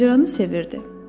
Macəranı sevirdi.